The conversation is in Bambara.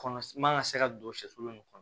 Kɔnɔ man ka se ka don sɛfu min kɔnɔ